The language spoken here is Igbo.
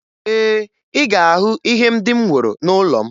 Ee, ị ga-ahụ ihe ndị m woro n'ụlọ m